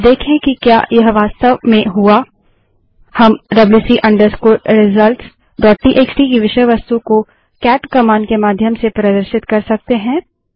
अब देखें कि क्या यह वास्तव में हुआ हम wc results WC result dot TXT की विषय वस्तु को केट कमांड के माध्यम से प्रदर्शित कर सकते हैं